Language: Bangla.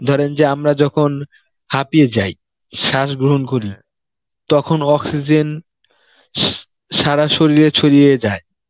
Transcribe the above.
ধরেন যে আমরা যখন হাপিয়ে যাই, শ্বাস গ্রহণ করি তখন oxygen স~ সারা শরীলে ছড়িয়ে যায়.